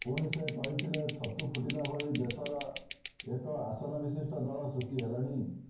ପୁଣି ସେ କହିଥିଲେ ଛତୁ ଫୁଟିଲା ଭଳି ଦେଶରେ ଏକ ଆସନ ବିଶିଷ୍ଟ ଦଳ ସୃଷ୍ଟି ହେଲେଣି